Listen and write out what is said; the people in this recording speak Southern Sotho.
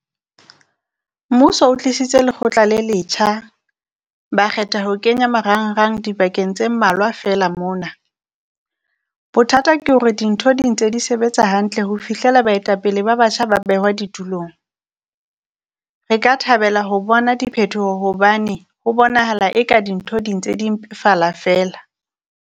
Mmuso o tlisitse lekgotla le letjha, ba kgetha ho kenya marangrang dibakeng tse mmalwa feela mona. Bothata ke hore dintho di ntse di sebetsa hantle ho fihlela baetapele ba batjha ba behwa di tulong. Re ka thabela ho bona diphetoho hobane ho bonahala eka dintho di ntse di mpefala feela.